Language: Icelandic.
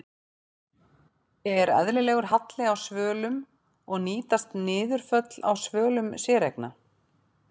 Er eðlilegur halli á svölum og nýtast niðurföll á svölum séreigna?